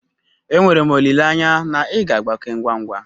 Enwere m olileanya na ị ga-agbake ngwa ngwa.